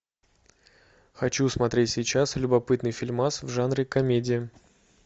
хочу смотреть сейчас любопытный фильмас в жанре комедия